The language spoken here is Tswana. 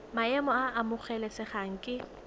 maemo a a amogelesegang ke